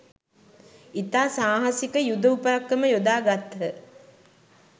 ඉතා සාහසික යුද උපක්‍රම යොදාගත්හ